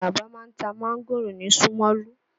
Àlàbá ma ń ta máńgòrò ni Ṣómólú.